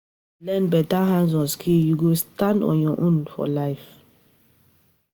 If you learn beta hand-on skill, you go stand on your own for life.